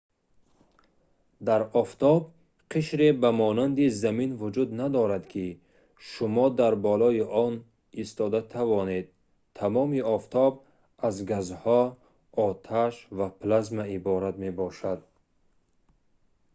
дар офтоб қишре ба монанди замин вуҷуд надорад ки шумо дар болои он истода тавонед тамоми офтоб аз газҳо оташ ва плазма иборат мебошад